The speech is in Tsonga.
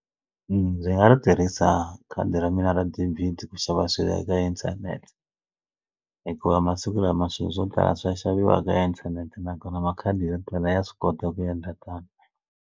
Ndzi nga ri tirhisa khadi ra mina ra debit ku xava swilo eka inthanete hikuva masiku lama swilo swo tala swi ya xaviwa ka inthanete nakona makhadi yo tala ya swi kota ku endla tano.